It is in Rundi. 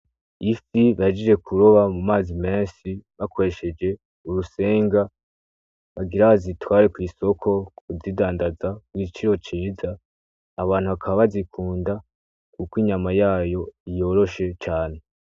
Ifi bahejeje kuroba mu mazi menshi bakoresheje urusenga bagira bazitware kw'isoko kuzidandaza ku giciro ciza, abantu bakaba bazikunda kuko inyama yayo yoroshe cane.